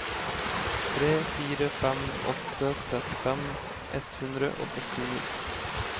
tre fire fem åtte trettifem ett hundre og førtini